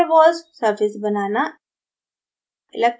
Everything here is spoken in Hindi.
van der waals surface banana